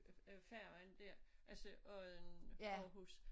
Øh færgen dér altså Odden Aarhus